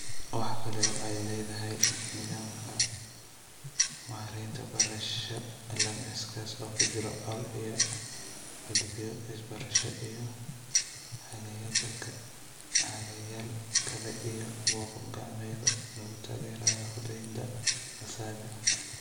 Waxa kale oo ay leedahay nidaamka maaraynta barasho (LMS), kaas oo ku jira CoL iyo cutubyo is-barasho, iyo hagayaal kale iyo buug-gacmeedyo lagu taageerayo fududaynta asaagga.